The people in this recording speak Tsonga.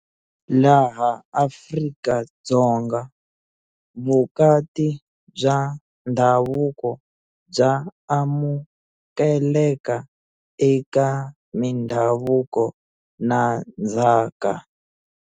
Laha Afrika-Dzonga, vukati bya ndhavuko bya amukeleka eka mindhavuko na ndzhaka.